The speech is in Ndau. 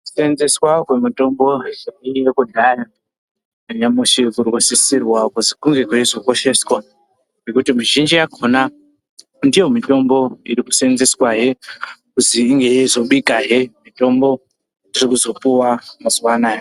Kuseenzeswa kwemitombo yaiyeyo kudhaya nyamushi kurikusisirwa kuzi kunge kweizokosheswa ngekuti mizhinji yakhona ndiyo mitombo irikusenzeswahe kuzi inge yeizobikahe mitombo dzirikuzopuwa mazuwa anaya.